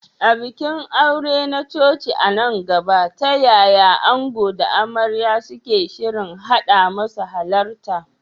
A bikin aure na coci a nan gaba, ta yaya ango da amarya suke shirin haɗa masu halarta?